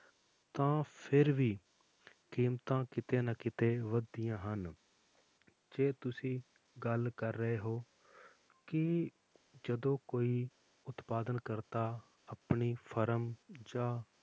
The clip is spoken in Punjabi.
ਤਾਂ ਫਿਰ ਵੀ ਕੀਮਤਾਂ ਕਿਤੇ ਨਾ ਕਿਤੇ ਵੱਧਦੀਆਂ ਹਨ, ਜੇ ਤੁਸੀਂ ਗੱਲ ਕਰ ਰਹੇ ਹੋ ਕਿ ਜਦੋਂ ਕੋਈ ਉਤਪਾਦਨ ਕਰਤਾ ਆਪਣੀ ਫਰਮ ਜਾਂ